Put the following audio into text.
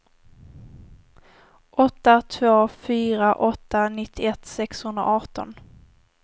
åtta två fyra åtta nittioett sexhundraarton